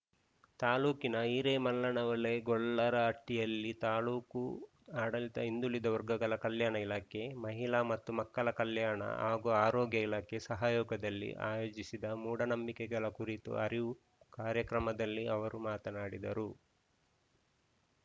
ತಾಲೂಕಿನ ಹಿರೇಮಲ್ಲನಹೊಳೆ ಗೊಲ್ಲರಹಟ್ಟಿಯಲ್ಲಿ ತಾಲೂಕು ಆಡಳಿತ ಹಿಂದುಳಿದ ವರ್ಗಗಳ ಕಲ್ಯಾಣ ಇಲಾಖೆ ಮಹಿಳಾ ಮತ್ತು ಮಕ್ಕಳ ಕಲ್ಯಾಣ ಹಾಗೂ ಆರೋಗ್ಯ ಇಲಾಖೆ ಸಹಯೋಗದಲ್ಲಿ ಆಯೋಜಿಸಿದ್ದ ಮೂಢ ನಂಬಿಕೆಗಳ ಕುರಿತು ಅರಿವು ಕಾರ್ಯಕ್ರಮದಲ್ಲಿ ಅವರು ಮಾತನಾಡಿದರು